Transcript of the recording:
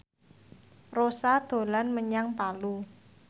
Rossa dolan menyang Palu